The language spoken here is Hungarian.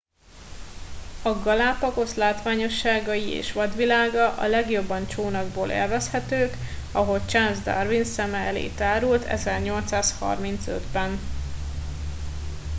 a galápagosz látványosságai és vadvilága a legjobban csónakból élvezhetők ahogy charles darwin szeme elé tárult 1835 ben